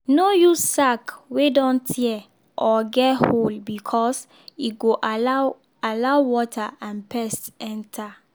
no use sack wey don tear or get hole because e go allow allow water and pest enter.